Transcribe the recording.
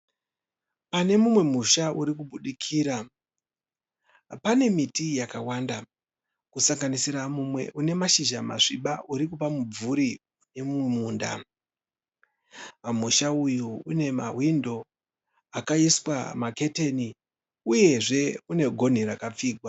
Panemumwe musha urikubudikira, pane miti yakawanda kusanganisira mumwe une mashizha masviba urikupa mumvuri mumunda. Pamusha uyu une mahwindo akaiswa maketeni uyezve unegonhi rakapfigwa.